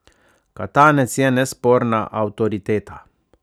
Katanec je nesporna avtoriteta.